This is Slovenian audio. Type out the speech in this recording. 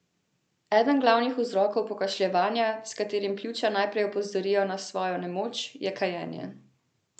Eden glavnih vzrokov pokašljevanja, s katerim pljuča najprej opozorijo na svojo nemoč, je kajenje.